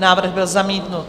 Návrh byl zamítnut.